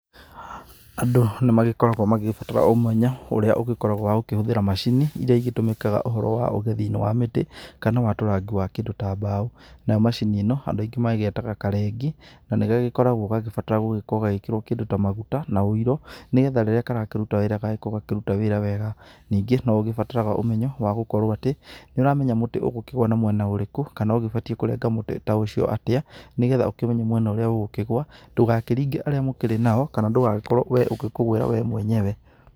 Andũ nĩmagĩkoragwo magĩgĩbatara ũmenyo ũrĩa ũgĩkoragwo wa gũkĩhũthĩra macini iria igĩtũmikaga ũhoro wa ũgethinĩ wa mĩtĩ, kana watũrangi wa kĩndũ ta mbao. Nayo macini ĩno, Andũ aingi magĩgetaga karengi, na gagĩkoragwo gagĩbatara gũgĩkorwo gagĩkĩrwo kĩndũ ta maguta, na ũiro. Nĩgetha rĩrĩa karakĩruta wĩra gagagĩkorwo gakĩruta wĩra wega. Ningĩ noũgĩbataraga ũmenyo wa gũkorwo atĩ, nĩũramenya mũtĩ ũgũkĩgwa na mwena ũrĩkũ, kana ũgĩbatiĩ kũrenga mũtĩ ta ũcio atĩa, nĩgetha ũkĩmenye mwena ũrĩa ũgũkĩgwa, ndũgakĩringe arĩa mũkĩrĩ nao. Kana ndũgagĩkorwo we ũgĩkũgwĩra we mwenyewe.